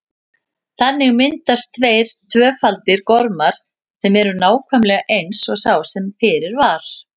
Þannig myndast tveir tvöfaldir gormar sem eru nákvæmlega eins og sá sem fyrir var.